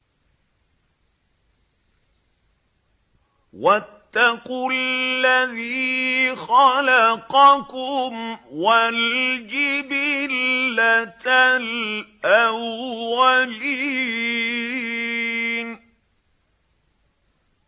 وَاتَّقُوا الَّذِي خَلَقَكُمْ وَالْجِبِلَّةَ الْأَوَّلِينَ